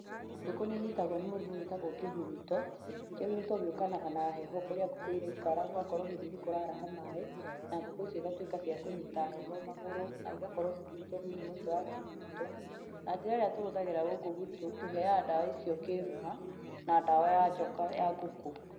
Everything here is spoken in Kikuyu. Ngũkũ nĩ inyitagwo nĩ mũrimũ wĩtagwo kĩhuruto, kĩhuruto gĩũkanaga na heho kũrĩa ngũkũ iraikara gũgakorwo hihi nĩkũraraha maaĩ, na ngũkũ icio cigatwĩka cia kũnyita heho magũrũ, na igakorwo cikĩnyitwo nĩ mũrimũ ũcio wa kĩhuruto na njĩra ĩrĩa tũhũthagĩra gũkũ gwitũ tũheaga ndawa icio kĩĩruma, na ndawa ya njoka ya ngũkũ.